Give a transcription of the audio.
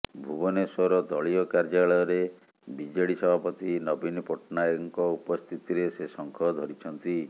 ଭୁବନେଶ୍ୱର ଦଳୀୟ କାର୍ୟ୍ୟାଳୟରେ ବିଜେଡି ସଭାପତି ନବୀନ ପଟ୍ଟନାୟକଙ୍କ ଉପସ୍ଥିତିରେ ସେ ଶଙ୍ଖ ଧରିଛନ୍ତି